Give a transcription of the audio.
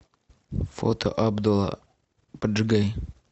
фото абдула поджигай